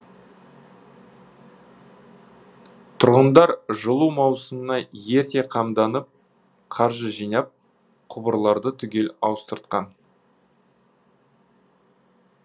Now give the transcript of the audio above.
тұрғындар жылу маусымына ерте қамданып қаржы жинап құбырларды түгел ауыстыртқан